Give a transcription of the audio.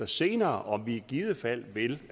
senere om vi i givet fald vil